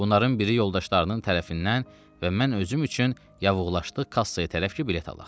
Bunların biri yoldaşlarının tərəfindən və mən özüm üçün yavuğlaşdıq kassaya tərəf ki bilet alaq.